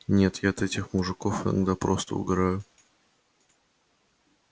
нет я от этих мужиков иногда просто угораю